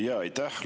Aitäh!